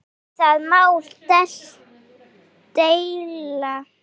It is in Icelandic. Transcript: Um það má deila.